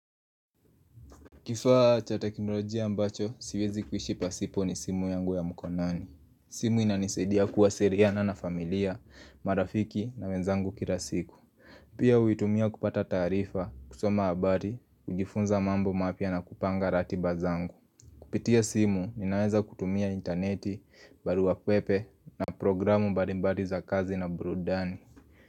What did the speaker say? Kifaa cha teknolojia ambacho, siwezi kuishi pasipo ni simu yangu ya mkonani. Simu inanisadia kuwasiriana na familia, marafiki na menzangu kila siku. Pia huitumia kupata taarifa, kusoma habari, kujifunza mambo mapya na kupanga ratiba zangu. Kupitia simu, ninaweza kutumia intaneti, barua pepe na programu balimbali za kazi na burudani.